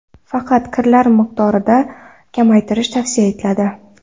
Faqat kirlar miqdorini kamaytirish tavsiya etiladi.